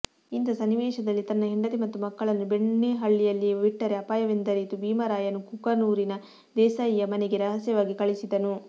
ಇಂಥ ಸನ್ನಿವೇಶದಲ್ಲಿ ತನ್ನ ಹೆಂಡತಿ ಮತ್ತು ಮಕ್ಕಳನ್ನು ಬೆಣ್ಣೆಹಳ್ಳಿಯಲ್ಲಿಯೇ ಬಿಟ್ಟರೆ ಅಪಾಯವೆಂದರಿತು ಭೀಮರಾಯನು ಕುಕನೂರಿನ ದೇಸಾಯಿಯ ಮನೆಗೆ ರಹಸ್ಯವಾಗಿ ಕಳಿಸಿದನು